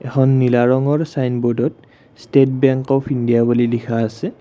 এখন নীলা ৰঙৰ চাইনব'ৰ্ডত ষ্টেট বেংক অফ্ ইণ্ডিয়া বুলি লিখা আছে।